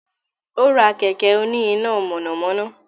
Ó rá kẹ̀kẹ́ òní iná mànàmáná